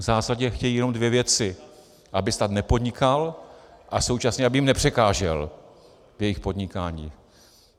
V zásadě chtějí jenom dvě věci: aby stát nepodnikal a současně aby jim nepřekážel v jejich podnikání.